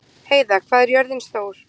Heiða, hvað er jörðin stór?